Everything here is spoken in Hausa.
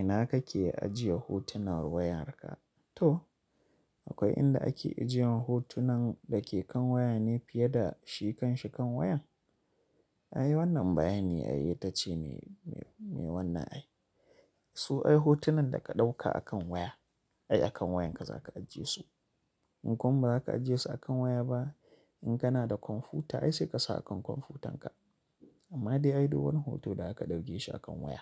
Ina kake ajiye hotunan wayarka? To akwai inda ake ajiyan hotunan da ke kan waya ne fiye da shikan shikan wayan? Ai wannan bayani ai ita ce mai wannan ai. Su ai hotunan da ka ɗauka akan waya ai akan wayanka za ka ajiye su. In kuma ba za ka ajiye su akan waya ba in kana da kwamfuta ai sai ka sa akan kwamfutanka. Amma dai ai dole wani hoto da aka ɗauke shi akan waya